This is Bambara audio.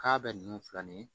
K'a bɛ nunnu filɛ nin ye